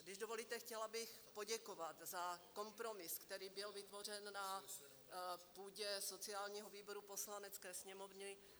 Když dovolíte, chtěla bych poděkovat za kompromis, který byl vytvořen na půdě sociálního výboru Poslanecké sněmovny.